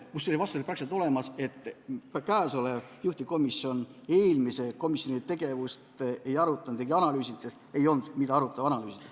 Vastus teile on seal praktiliselt olemas: käesolev juhtivkomisjon eelmise komisjoni tegevust ei arutanud ega analüüsinud, sest ei olnud, mida arutada või analüüsida.